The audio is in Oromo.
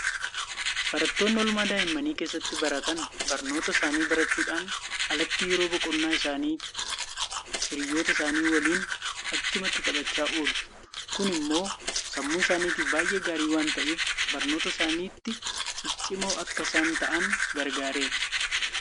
Barattoonni oolmaa daa'immanii keessatti baratan barnoota isaanii barachuudhaan alatti yeroo boqonnaa isaanii hiriyoota isaanii waliin achumatti taphachaa oolu. Kun immoo sammuu isaaniitiif baay'ee gaarii waanta ta'eef barnoota isaaniitti ciccimoo akka isaan ta'an gargaareera.